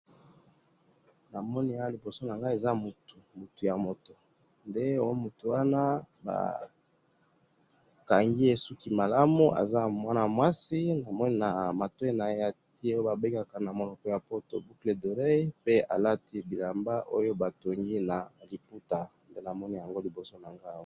na moni awa liboso nangayi eza mutu mutu ya mutu nde mutuwana bakangiye suki malamu aza mwana mwasi namoni na matoyi naye atiye oyo ba bengaka boucle d'oreille namonipe alati na liputa nde namoni liboso nangayi awa